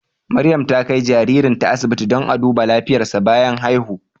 Maryam ta kai jaririnta asibiti domin a duba lafiyarsa bayan haihu.